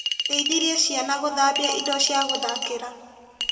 Ndeithirie ciana gũthambia indo cia gũthakĩra.